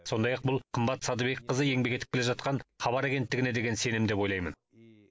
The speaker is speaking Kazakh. сондай ақ бұл қымбат садыбекқызы еңбек етіп келе жатқан хабар агенттігіне деген сенім деп ойлаймын